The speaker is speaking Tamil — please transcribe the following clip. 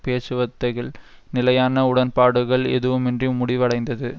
பேச்சுவார்த்தைகள் நிலையான உடன்பாடுகள் எதுவுமின்றி முடிவடைந்தது